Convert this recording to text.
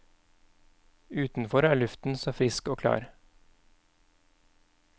Utenfor er luften så frisk og klar.